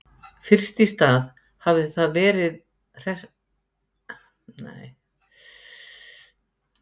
Fyrst í stað hafði það bara verið hressandi að hjóla eftir setuna í rútunni.